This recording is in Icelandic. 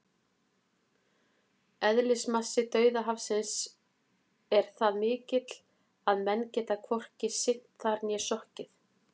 Eðlismassi Dauðahafsins er það mikill að menn geta hvorki synt þar né sokkið!